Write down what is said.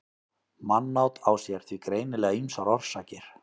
mannát á sér því greinilega ýmsar orsakir